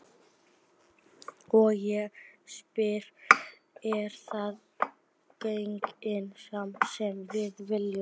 Og ég spyr, er það þannig samfélag sem við viljum?